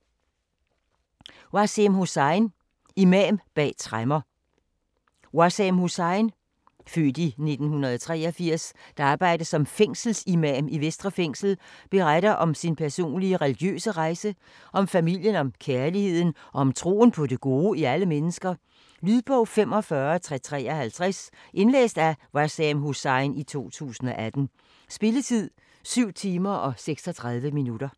Hussain, Waseem: Imam bag tremmer Waseem Hussain (f. 1983), der arbejder som fængselsimam i Vestre Fængsel, beretter om sin personlige religiøse rejse, om familien, om kærligheden og om troen på det gode i alle mennesker. Lydbog 45353 Indlæst af Waseem Hussain, 2018. Spilletid: 7 timer, 36 minutter.